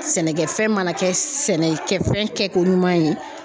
Sɛnɛkɛfɛn mana kɛ sɛnɛ kɛfɛn kɛko ɲuman ye